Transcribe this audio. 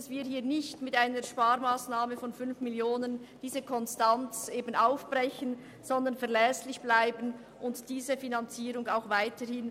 Wir wollen diese Konstanz nicht mit einer Sparmassnahme von 5 Mio. Franken aufbrechen, sondern verlässlich bleiben und diese Finanzierung so weiterführen.